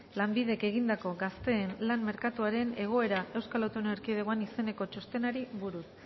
lanbidek egindako gazteen lan merkatuaren egoera eaen izeneko txostenari buruz